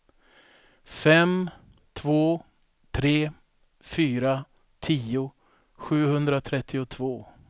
fem två tre fyra tio sjuhundratrettiotvå